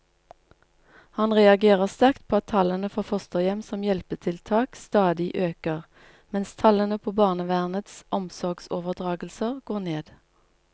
Han reagerer sterkt på at tallene for fosterhjem som hjelpetiltak stadig øker, mens tallene på barnevernets omsorgsoverdragelser går ned.